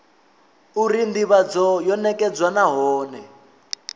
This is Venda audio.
uri ndivhadzo yo nekedzwa nahone